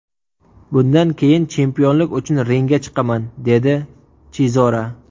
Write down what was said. Bundan keyin chempionlik uchun ringga chiqaman” dedi Chizora.